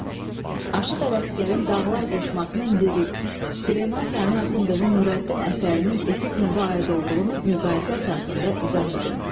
Aşıq Ələsgərin dağlar qoşmasının lirik, Süleyman Sani Axundovun Nurəddin əsərinin epik növə aid olduğunu müqayisə əsasında izah edin.